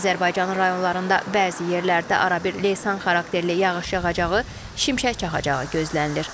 Azərbaycanın rayonlarında bəzi yerlərdə arabir leysan xarakterli yağış yağacağı, şimşək çaxacağı gözlənilir.